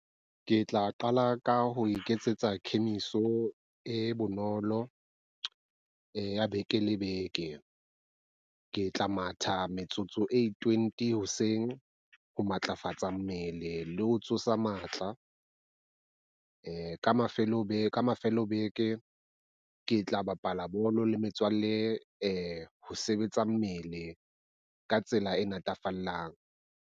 Ke tla qala ka ho iketsetsa kemiso e bonolo ya beke le beke. Ke tla matha metsotso e twenty hoseng ho matlafatsa mmele le ho tsosa matla. Ka mafelo a beke ke tla bapala bolo le metswalle ho sebetsa mmele ka tsela e natafallang.